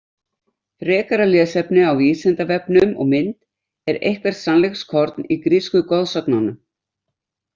Frekara lesefni á Vísindavefnum og mynd Er eitthvert sannleikskorn í grísku goðsögunum?